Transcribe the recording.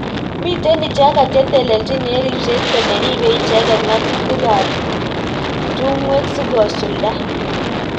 mitei icheket cheteleljin eng ribset kole ribei icheket ngatutik ab tungwek sikosulda.